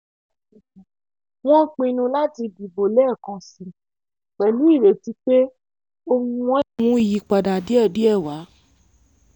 wọ́n pinnu láti dìbò lẹ́ẹ̀kansi pẹ̀lú ìrètí pé ohùn wọn lè mú ìyípadà díẹ̀ díẹ̀ wá